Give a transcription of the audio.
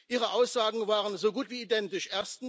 Ihre Aussagen waren so gut wie identisch.